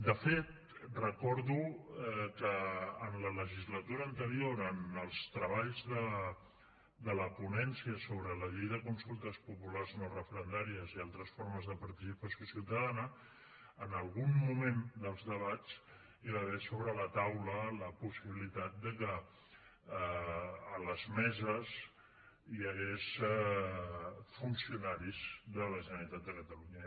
de fet recordo que en la legislatura anterior en els treballs de la ponència sobre la llei de consultes populars no referendàries i altres formes de participació ciutadana en algun moment dels debats hi va haver sobre la taula la possibilitat de que a les meses hi hagués funcionaris de la generalitat de catalunya